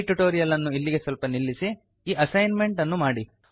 ಈ ಟ್ಯುಟೋರಿಯಲ್ ಅನ್ನು ಅಲ್ಲಿಗೆ ಸ್ವಲ್ಪ ನಿಲ್ಲಿಸಿ ಈ ಅಸೈನ್ ಮೆಂಟ್ ಅನ್ನು ಮಾಡಿ